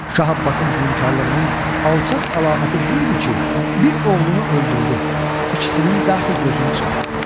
Şah Abbasın zülmkarlığının alçaq əlaməti bu idi ki, bir oğlunu öldürdü, ikisinin dəxi gözünü çıxartdı.